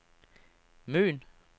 Møn